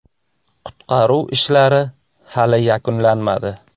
Qutqaruv ishlari hali yakunlanmadi.